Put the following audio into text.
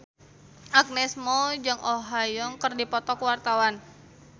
Agnes Mo jeung Oh Ha Young keur dipoto ku wartawan